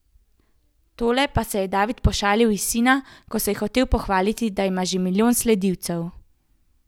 Takole pa se je David pošalil iz sina, ko se je hotel pohvaliti, da ima že milijon sledilcev.